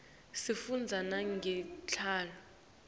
sifundza nangetitjalo